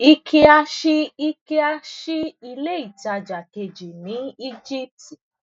ikea ṣí ikea ṣí ilé ìtajà kejì ní egypt